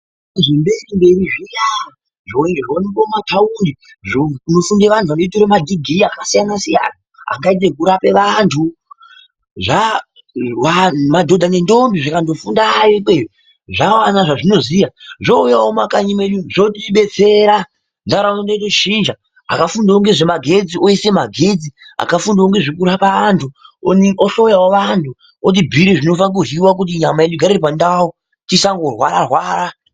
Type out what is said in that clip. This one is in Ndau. Zvemberi mberi zviya, zvimwe zvinoonekwe mumataundi kunofundire antu anoite madhigirii akasiyana siyana angaite ekurape vantu, madodha nendombi zvikandofundeyo ikweyo zvawane zvezvinoziya ouyawo kumakanyi unonu zvotodetsera ntaraunda yedu yotochinja. Akafundawo ngezve magetsi oise magetsi ,akafundawo ngezvekurapa antu, ohloyawo antu otibhuire zvinofanirwe kuryiwa kuti nyama yedu igare iri pandau tisangorwara rwara